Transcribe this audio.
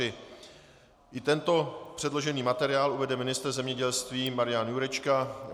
I tento předložený materiál uvede ministr zemědělství Marian Jurečka.